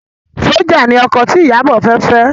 Sójà ni ọkọ tí Ìyábọ̀ fẹ́ fẹ́